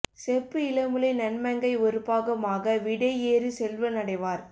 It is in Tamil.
செப்பு இளமுலை நன்மங்கை ஒருபாகம் ஆக விடை ஏறு செல்வன் அடைவார்